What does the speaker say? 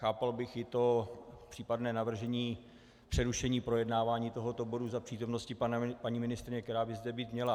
Chápal bych i to případné navržení přerušení projednávání tohoto bodu do přítomnosti paní ministryně, která by zde být měla.